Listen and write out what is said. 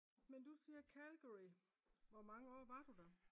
Men du siger Calgary hvor mange år var du der?